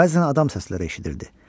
Bəzən adam səsləri eşidirdi.